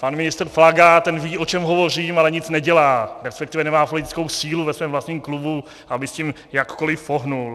Pan ministr Plaga, ten ví, o čem hovořím, ale nic nedělá, respektive nemá politickou sílu ve svém vlastním klubu, aby s tím jakkoliv pohnul.